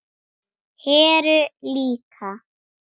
Heru líka.